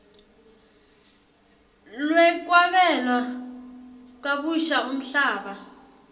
lwekwabela kabusha umhlaba